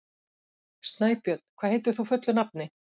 Snæbjörn, hvað heitir þú fullu nafni?